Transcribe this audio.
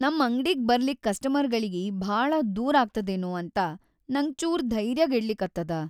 ನಮ್‌ ಅಂಗ್ಡಿಗ್‌ ಬರ್ಲಿಕ್ ಕಸ್ಟಮರ್‌ಗಳಿಗೆ‌ ಭಾಳ ದೂರ್‌ ಆಗ್ತದೇನೋ ಅಂತ ನಂಗ್ ಚೂರ್‌ ಧೈರ್ಯಗೆಡಲಿಕತ್ತದ.